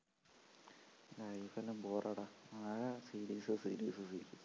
life എല്ലാം ബോറാടാ ആകെ series series series